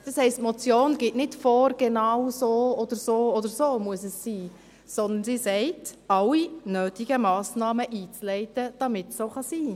Das heisst, die Motion gibt nicht vor, dass es genau so oder so sein muss, sondern sie sagt: «alle nötigen Massnahmen einzuleiten, damit es so sein kann».